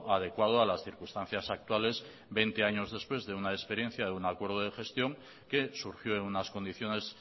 adecuado a las circunstancias actuales veinte años después de una experiencia de un acuerdo de gestión que surgió en unas condiciones